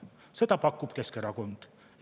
Neid pakub Keskerakond.